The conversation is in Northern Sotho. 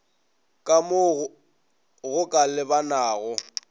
ka mo go ka lebanago